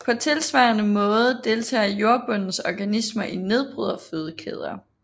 På tilsvarende måde deltager jordbundens organismer i nedbryderfødekæder